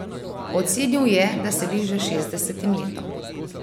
Ocenil je, da se bliža šestdesetim letom.